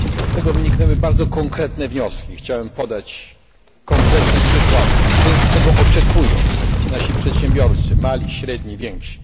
Z tego wyniknęły bardzo konkretne wnioski, chciałbym podać konkretne przykłady, czego oczekują nasi przedsiębiorcy mali, średni, więksi.